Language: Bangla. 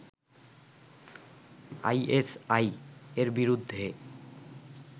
আইএসআই-এর বিরুদ্ধে